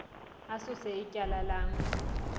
asuse ityala lam